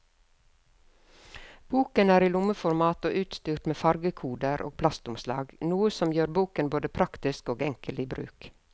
Boken er i lommeformat og utstyrt med fargekoder og plastomslag, noe som gjør boken både praktisk og enkel i bruk.